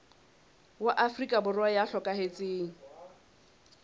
wa afrika borwa ya hlokahetseng